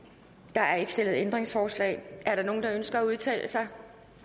der er ikke stillet ændringsforslag er der nogen der ønsker at udtale sig